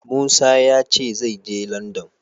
Musa ya ce zai je Landan.